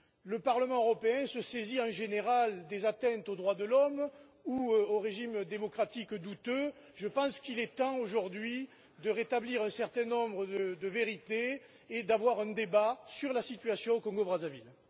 Le Parlement européen se saisit, en général, des atteintes aux droits de l'homme ou des questions relatives aux régimes démocratiques douteux, et je pense qu'il est temps aujourd'hui de rétablir un certain nombre de vérités et de tenir un débat sur la situation au Congo Brazzaville.